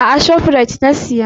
A'a, a Shoprite na siya.